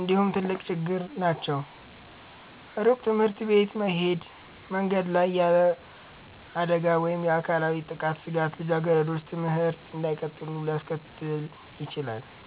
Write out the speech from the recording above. እንዲሁ ትልቅ ችግር ናቸው። ሩቅ ትምህርት ቤቶች መሄድ፣ መንገድ ላይ ያለ አደጋ ወይም የአካላዊ ጥቃት ስጋት ልጃገረዶች ትምህርት እንዳይቀጥሉ ሊያስከትል ይችላል።